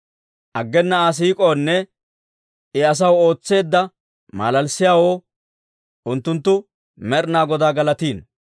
Aggena Aa siik'oonne I asaw ootseedda malalissiyaawoo unttunttu Med'inaa Godaa galatino.